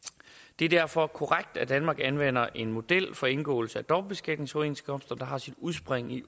det er derfor korrekt at danmark anvender en model for indgåelse af dobbeltbeskatningsoverenskomster der har sit udspring i